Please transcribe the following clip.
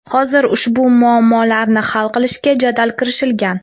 Hozir ushbu muammolarni hal qilishga jadal kirishilgan.